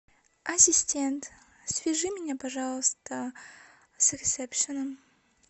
ассистент свяжи меня пожалуйста с ресепшеном